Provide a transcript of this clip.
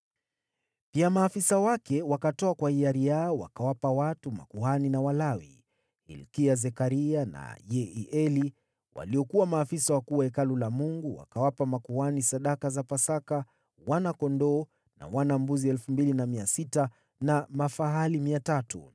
Pia maafisa wake, wakatoa kwa hiari yao wakawapa watu, makuhani na Walawi. Hilkia, Zekaria na Yehieli, waliokuwa maafisa wakuu wa Hekalu la Mungu, wakawapa makuhani sadaka za Pasaka wana-kondoo na wana-mbuzi 2,600 na mafahali 300.